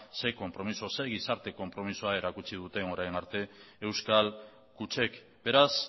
ze konpromiso ze gizarte konpromisoa erakutsi duten orain arte euskal kutxek beraz